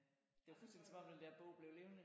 Det var fuldstændig som om den der bog blev levende